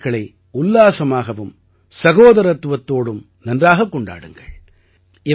இந்தத் திருநாட்களை உல்லாசமாகவும் சகோதரத்துவத்தோடும் நன்றாகக் கொண்டாடுங்கள்